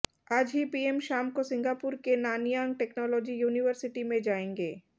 आज ही पीएम शाम को सिंगापुर के नानयांग टेक्नोलॉजी यूनिवर्सिटी में जाएंगे